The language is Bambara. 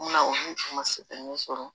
Mun na olu tun ma se ka mun sɔrɔ